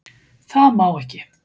Það má ekki.